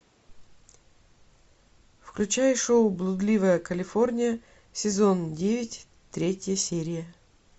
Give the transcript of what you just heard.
включай шоу блудливая калифорния сезон девять третья серия